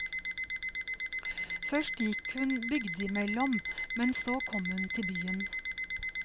Først gikk hun bygdimellom, og så kom hun til byen.